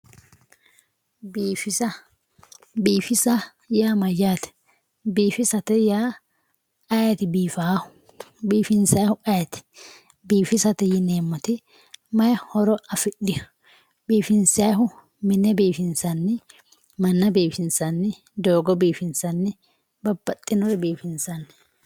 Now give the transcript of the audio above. biifisa biifisa yaa mayyaate biifisate yaa ayiiti biifawoohu biifinsayiihu ayiiti biifisate yineemmoti batiny horo afidhewoo biifinsayiihu mine biifinsanni manna biifinsanni doogo biifinsanni babbaxxinore biifinsanni